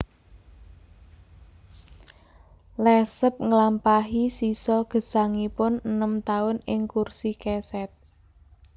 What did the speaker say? Lesseps nglampahi sisa gesangipun enem taun ing kursi kesèt